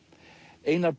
Einar